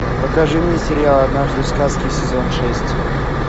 покажи мне сериал однажды в сказке сезон шесть